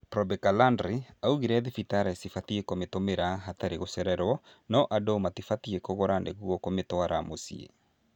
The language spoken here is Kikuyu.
Probeca Landray augire thibitarĩ cibatiĩ kũmĩtũmĩra hatarĩ gũcererwo no andũ matibatiĩ kũgũra nĩguo kũmĩtwara mũciĩ